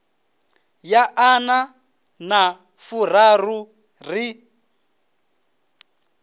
ya ḓana na furaru ri